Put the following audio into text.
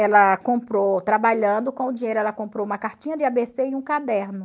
Ela comprou, trabalhando com o dinheiro, ela comprou uma cartinha de a bê cê e um caderno.